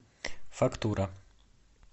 фактура